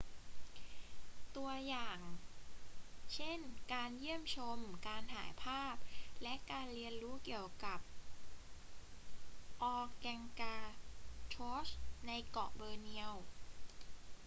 ตัวอย่างเช่นการเยี่ยมชม การถ่ายภาพ และการเรียนรู้เกี่ยวกับ organgatuangs ในเกาะบอร์เนียว